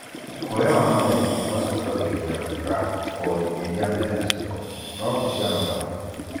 Guoya wa mathabu ũmacũngagĩrĩria gwĩka kothi irĩa menacio no ti cia mathabu.